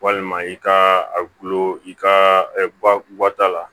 Walima i ka a gulo i ka guwa ta la